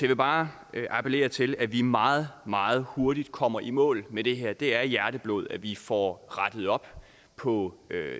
vil bare appellere til at vi meget meget hurtig kommer i mål med det her det er hjerteblod at vi får rettet op på